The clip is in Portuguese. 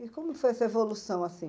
E como foi essa evolução assim?